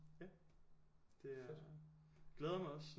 Ja det er glæder mig også